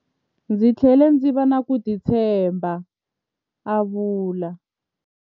Ndzi tlhele ndzi va na ku titshemba, a vula.